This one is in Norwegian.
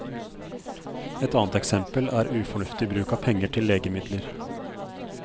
Et annet eksempel er ufornuftig bruk av penger til legemidler.